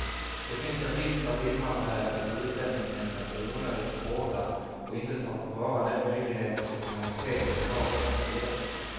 Det finns en risk för att invandrarverket och utlänningsnämnden blir onödigt hårda och inte tar tillvara de möjligheter till humanitet som lagen också ger.